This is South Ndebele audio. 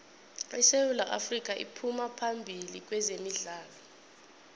isewu afrika iphuma phambili kwezemidlalo